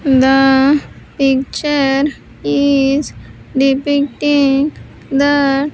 The picture is depicting the.